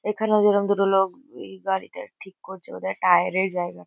এখানেও যেরোম দুটো লোক ওই গাড়িটা ঠিক করছে বোধ হয় টায়ার -এর জায়গা।